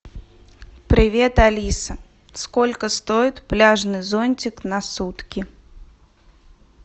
привет алиса сколько стоит пляжный зонтик на сутки